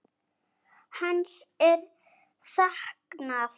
Hans er saknað.